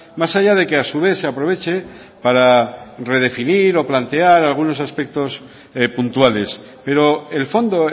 más allá de que a su vez se aproveche para redefinir o plantear algunos aspectos puntuales pero el fondo